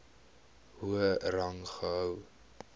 hoër rang gehou